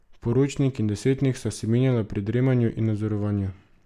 Poročnik in desetnik sta se menjala pri dremanju in nadzorovanju.